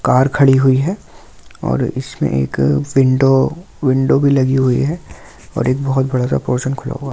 Car खड़ी हुई है और इसमें एक विंडो विंडो भी लगी हुई है और एक बहुत जादा पोरसन खुला हुआ है।